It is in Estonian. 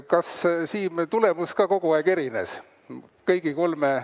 Kas, Siim, tulemus ka kogu aeg erines?